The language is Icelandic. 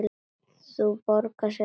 Það borgar sig ekki